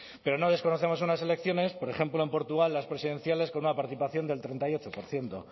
pero no desconocemos unas elecciones por ejemplo en portugal las presidenciales con una participación del treinta y ocho por ciento